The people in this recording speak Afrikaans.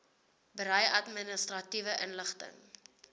berei administratiewe inligting